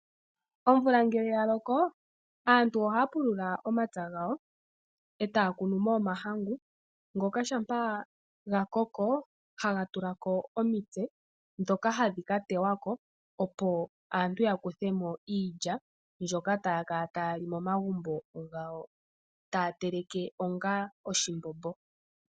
Omvula ngele oya loko aantu ohaa pulula momapya gawo e taa kunu mo omahangu. Ngele oga koko oha ga tulako omitse ndhono hadhi teywako opo aantu ya kuthemo iilya. Iilya oha zi uusila mbono hawu telekwa onga oshimbombo.